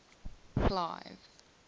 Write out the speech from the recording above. clive